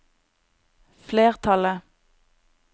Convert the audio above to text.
flertallet